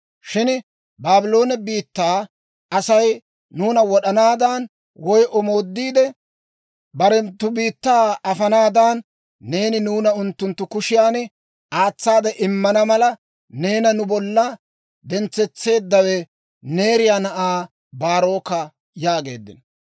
Shin Baabloone biittaa Asay nuuna wod'anaadan woy omoodiide barenttu biittaa afanaadan, neeni nuuna unttunttu kushiyan aatsaade immana mala, neena nu bollan dentseeddawe Neeriyaa na'aa Baaroka» yaageeddino.